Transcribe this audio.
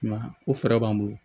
I m'a ye o fɛɛrɛ b'an bolo